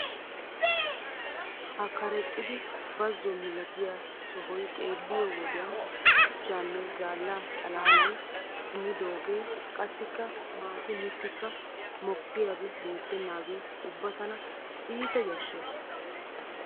Ha karexxidi bazzo milatiya sohay xeelliyo wodiyan shuchchanne zaalla xalaalay kumidoogee qassikka maati mittikka mokkiyabi beettennaagee ubba tana iita yashshees.